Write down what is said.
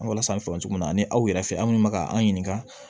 An walasa an fɛ yan cogo min na ani aw yɛrɛ fɛ an minnu bɛ ka an ɲininka